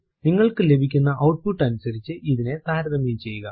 നിങ്ങൾക്കു ലഭിക്കുന്ന ഔട്പുട്ട് അനുസരിച്ച് ഇതിനെ താരതമ്യം ചെയ്യുക